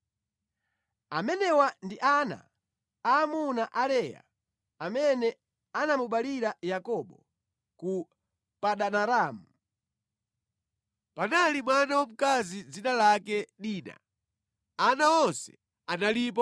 Amenewa ndi ana aamuna a Leya amene anamubalira Yakobo ku Padanaramu. Panali mwana wamkazi dzina lake Dina. Ana onse analipo 33.